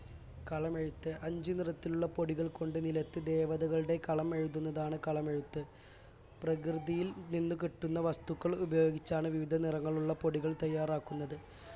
കളമെഴുത്ത് അഞ്ചു നിറത്തിലുള്ള പൊടികൾകൊണ്ട് നിലത്ത് ദേവതകളുടെ കളം എഴുതുന്നതാണ് കളമെഴുത്ത് പ്രകൃതിയിൽ നിന്നു കിട്ടുന്ന വസ്തുക്കൾ ഉപയോഗിച്ചാണ് വിവിധ നിറങ്ങളുള്ള പൊടികൾ തയ്യാറാക്കുന്നത്